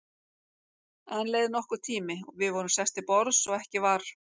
Enn leið nokkur tími, við vorum sest til borðs og ekki var